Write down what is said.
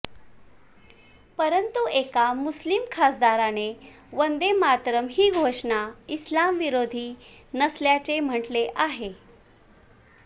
परंतु एका मुस्लिम खासदाराने वंदे मातरम ही घोषणा इस्लाम विरोधी नसल्याचे म्हटले आहे